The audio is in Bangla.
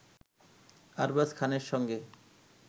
আরবাজ খানের সঙ্গে